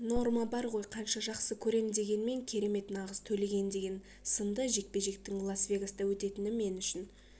норма бар ғой қанша жақсы көрем дегенмен кереметнағыз төлеген деген сынды жекпе-жектің лас-вегаста өтетіні мен үшін